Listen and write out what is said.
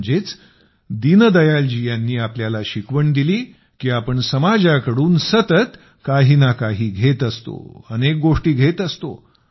म्हणजेच दीनदयालजी यांनी आपल्याला शिकवण दिली की आपण समाजाकडून सतत काही ना काही घेत असतो अनेक गोष्टी घेत असतो